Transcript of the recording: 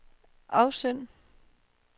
afsend